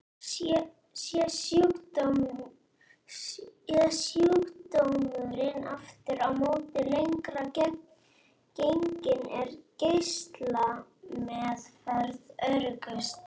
Sé sjúkdómurinn aftur á móti lengra genginn er geislameðferð öruggust.